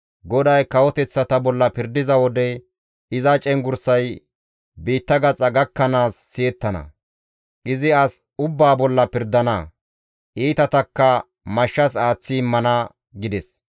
GODAY kawoteththata bolla pirdiza wode iza cenggurssay biitta gaxa gakkanaas siyettana; izi as ubbaa bolla pirdana; iitatakka mashshas aaththi immana› » gides.